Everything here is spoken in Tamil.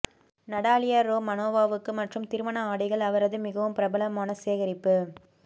நடாலியா ரோமனோவாவுக்கு மற்றும் திருமண ஆடைகள் அவரது மிகவும் பிரபலமான சேகரிப்பு